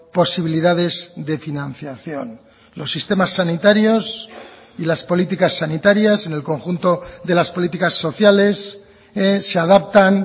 posibilidades de financiación los sistemas sanitarios y las políticas sanitarias en el conjunto de las políticas sociales se adaptan